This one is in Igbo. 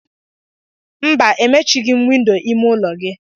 Mba, emechighị m windo ime ụlọ gị.